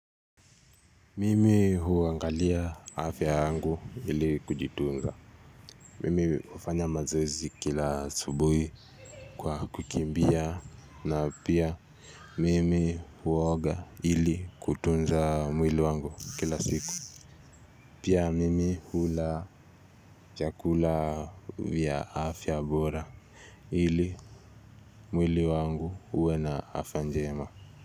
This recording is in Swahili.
Mimi huangalia afya yangu ili kujitunza. Mimi hufanya mazoezi kila asubuhi. Kwa kukimbia na pia mimi huoga ili kutunza mwili wangu kila siku. Pia mimi hula chakula vya afya bora ili mwili wangu uwe na afya njema.